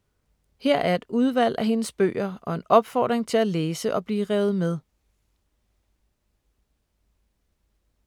Her er et udvalg af hendes bøger og en opfordring til at læse og blive revet med!